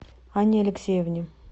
анне алексеевне